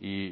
y